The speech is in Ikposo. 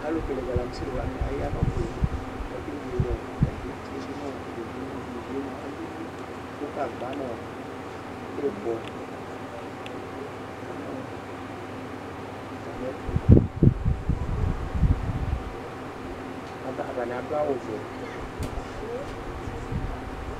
Alu le galamsi wani aya nu ɔbe lɩ k'ake wele ɔ atami etie du nu ivie li, ivie mua alili ku gagba nɔ ibɔ ya nu ɔ atami ɛtu ata atani adu awu vɛ